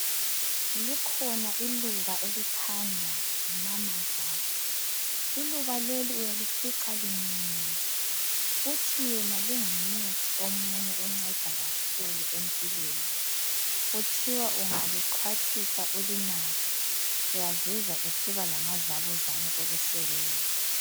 Likhona iluba elithandwa ngumamazala iluba leli uyalifica liminyene uthi yena lingumuthi omunye onceda kakhulu empilweni, kuthiwa ungalixhwathisa ulinathe uyazizwa usiba lamadlabuzane okusebenza.